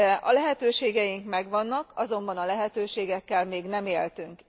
A lehetőségeink megvannak, azonban a lehetőségekkel még nem éltünk.